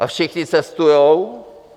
A všichni cestujou...